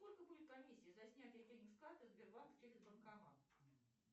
сколько будет комиссия за снятие денег с карты сбербанк через банкомат